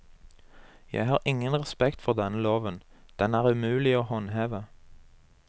Jeg har ingen respekt for denne loven, den er umulig å håndheve.